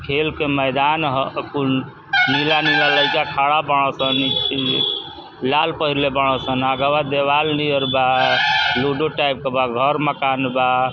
खेल के मैदान ह। अ कुल नीला-नीला लईका खड़ा बाड़ सन। इ इ लाल पहिरले बाड़ सन। आगवा देवाल नियर बा। लूडो टाइप क बा। घर मकान बा।